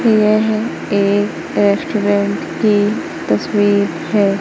यह एक रेस्टोरेंट की तस्वीर है।